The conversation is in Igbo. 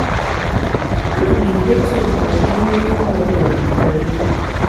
a na m edetu ụbọchị ime ụmụ ọ bụla na kalenda.